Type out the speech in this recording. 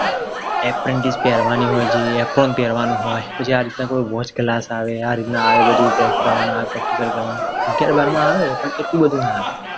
અગિયાર બારમા આવે પણ એટલું બધું ના આવે